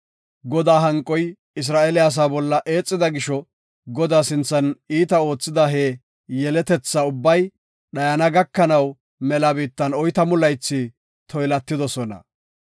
Godaa hanqoy Isra7eele asaa bolla eexida gisho Godaa sinthan iita oothida he yeletetha ubbay dhayana gakanaw mela biittan oytamu laythi toylatidosona.